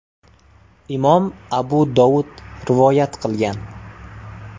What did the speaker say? (Imom Abu Dovud rivoyat qilgan).